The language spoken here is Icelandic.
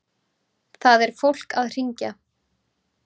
Það er fólk að hringja.